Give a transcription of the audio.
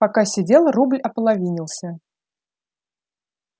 пока сидел рубль ополовинился